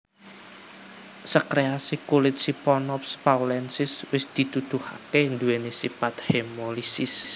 Sekresi kulit Siphonops paulensis wis dituduhaké nduwèni sipat hemolisis